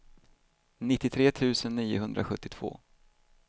nittiotre tusen niohundrasjuttiotvå